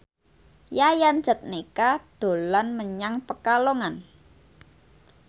Yayan Jatnika dolan menyang Pekalongan